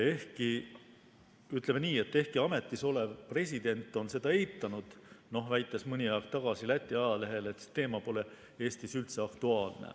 Ehkki, ütleme nii, et ametisolev president on seda eitanud, väites mõni aeg tagasi Läti ajalehele, et see teema pole Eestis üldse aktuaalne.